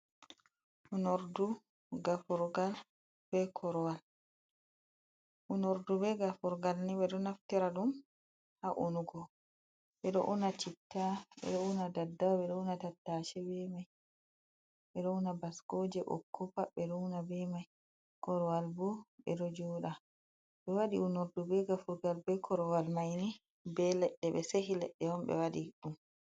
Onurɗu gafulgal be korowal. onurɗu be gafulgal ni beɗo naftira ɗum ha unugo. beɗo una chitta, beɗo una ɗaɗɗawa, be ɗo una tattase be mai, be ɗo una baskoje bokko pat be ɗo una be mai. korowal bo be ɗo jooɗa. Be wadi unorɗu be gafurgal be korowal maini be leɗɗe be sehi leɗɗe, himbe waɗi ɗum.